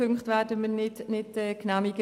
Wir werden beide Punkte nicht genehmigen.